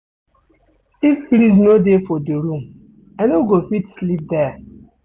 If breeze no dey for di room, I no go fit sleep there.